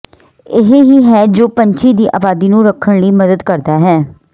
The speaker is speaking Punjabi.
ਇਹ ਹੀ ਹੈ ਜੋ ਪੰਛੀ ਦੀ ਆਬਾਦੀ ਨੂੰ ਰੱਖਣ ਲਈ ਮਦਦ ਕਰਦਾ ਹੈ